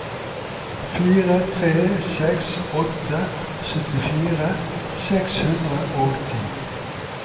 fire tre seks åtte syttifire seks hundre og ti